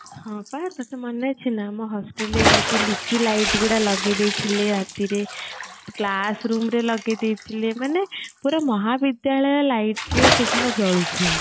ହଁ ପା ତତେ ମନେ ଅଛି ନା ଆମ hostel ରେ ଏମିତି ଲିଚୁ light ଗୁଡା ଲଗେଇ ଦେଇଥିଲେ ରାତିରେ classroom ରେ ଲଗେଇ ଦେଇଥିଲେ ମାନେ ପୁରା ମହାବିଦ୍ୟାଳୟ light ରେ ସେ ଦିନ ଜଳୁ ଥିଲା